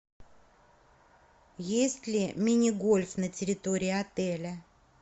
есть ли мини гольф на территории отеля